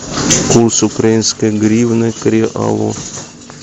курс украинской гривны к реалу